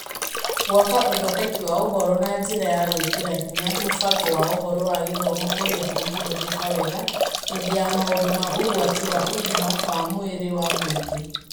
Gwaka uthondeki wa ũhoro na njira ya gwĩkĩra hinya mũbango wa ũhoro wa githomo ũrĩa ũngĩhũthĩka wega hĩndĩ ya maũndũ ma ũgwati wa ũgima wa mwĩrĩ wa mũingĩ.